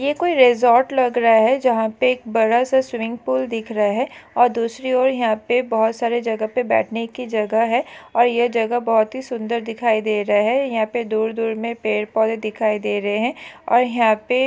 ये कोई रिज़ॉर्ट लग रहा है जहा पे एक बड़ा सा स्विमिंग पूल दिख रहे है और दूसरी और यहा पे बहुत सारे जगह पे बैठने की जगह है और ये जगह बहुत ही सुंदर दिखाई दे रहे है यहा पे दूर-दूर मे पेड़ पौधे दिखाई दे रहे है और यहा पे--